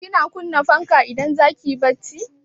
Kina kunna fanka idan zaki yi barci?